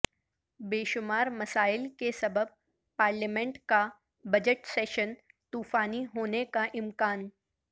بےشمار مسائل کے سبب پارلیمنٹ کا بجٹ سیشن طوفانی ہونے کا امکان